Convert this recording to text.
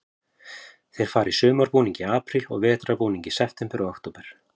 Þeir fara í sumarbúning í apríl og vetrarbúning í september og október.